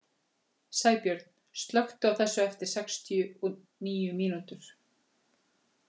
Sæbjörn, slökktu á þessu eftir sextíu og níu mínútur.